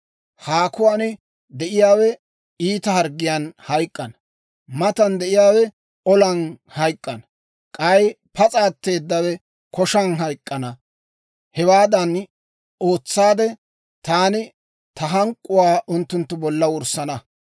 Haakuwaan de'iyaawe iita harggiyaan hayk'k'ana; matan de'iyaawe olan hayk'k'ana; k'ay pas'a atteedawe koshan hayk'k'ana. Hewaadan ootsaade, taani ta hank'k'uwaa unttunttu bolla wurssana.